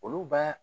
Olu b'a